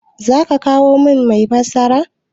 Za ka kawo min mai fassara?